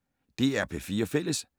DR P4 Fælles